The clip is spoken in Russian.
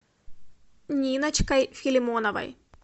ниночкой филимоновой